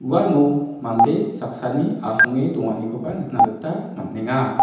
uano mande saksani asonge donganikoba nikna gita man·enga.